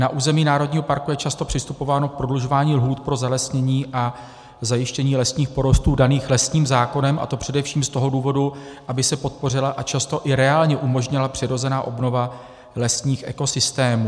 Na území národního parku je často přistupováno k prodlužování lhůt pro zalesnění a zajištění lesních porostů daných lesním zákonem, a to především z toho důvodu, aby se podpořila a často i reálně umožnila přirozená obnova lesních ekosystémů.